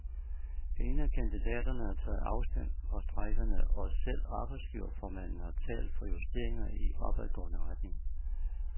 Ingen af kandidaterne har taget afstand fra strejkerne, og selv arbejdsgiverformanden har talt for justeringer i opadgående retning.